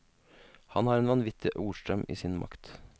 Han har en vanvittig ordstrøm i sin makt.